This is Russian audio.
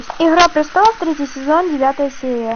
игра престолов третий сезон девятая серия